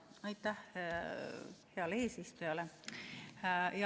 Aitäh heale eesistujale!